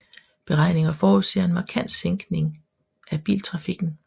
Beregninger forudser en markant sækning af biltrafikken